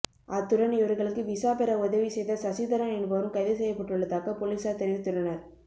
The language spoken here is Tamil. அத்துடன் இவர்களுக்கு விசாபெற உதவிசெய்த சசிதரன் என்பவரும் கைதுசெய்யப்பட்டுள்ளதாக பொலிசார் தெரிவித்துள்ளனர்